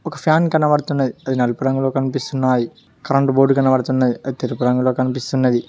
ఒక ఫ్యాన్ కనబడుతున్నది అది నలుపు రంగులో కనిపిస్తున్నాది కరెంటు బోర్డు కనబడుతున్నది అది తెలుపు రంగులో కనిపిస్తున్నది.